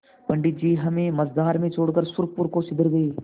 पंडित जी हमें मँझधार में छोड़कर सुरपुर को सिधर गये